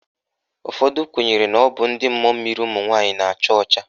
Ụfọdụ kwenyere na ọ bụ ndị mmụọ mmiri ụmụnwaanyị na-acha ọcha.